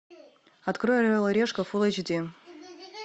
открой орел и решка фул эйч ди